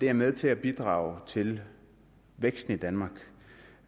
er med til at bidrage til væksten i danmark